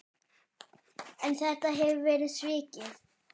En þetta hefur verið svikið.